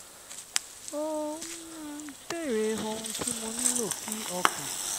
ó béèrè ohun tí mo nílò kí ọkàn